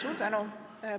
Suur tänu!